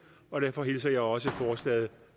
og derfor hilser jeg også forslaget